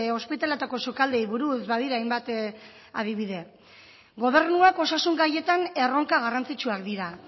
ospitaletako sukaldeei buruz badira hainbat adibide gobernuak osasun gaietan erronka garrantzitsuak dira